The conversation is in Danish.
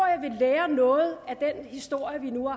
jeg vil lære noget af den historie vi